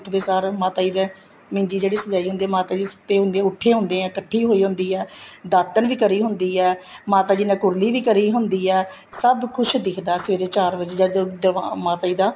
ਉੱਠਦੇ ਸਾਰ ਮਾਤਾ ਜੀ ਦੇ ਨਿੰਜੀ ਜਿਹੜੀ ਸਜਾਈ ਹੁੰਦੀ ਹੈ ਮਾਤਾ ਜੀ ਸੁੱਤੇ ਹੁੰਦੇ ਹੈ ਉੱਠੇ ਹੁੰਦੇ ਏ ਕੱਠੀ ਹੋਈ ਹੁੰਦੀ ਏ ਦਾਤਨ ਵੀ ਕਰੀ ਹੁੰਦੀ ਹੈ ਮਾਤਾ ਜੀ ਨੇ ਕੁਰਲੀ ਵੀ ਕਰੀ ਹੁੰਦੀ ਹੈ ਸਭ ਕੁੱਛ ਦਿੱਖਦਾ ਸਵੇਰੇ ਚਾਰ ਵਜ਼ੇ ਜਦੋਂ ਮਾਤਾ ਜੀ ਦਾ